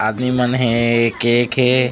आदमी मन हे केक हे।